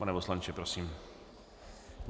Pane poslanče, prosím.